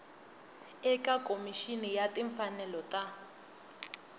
eka khomixini ya timfanelo ta